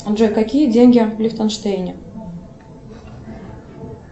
джой какие деньги в лихтенштейне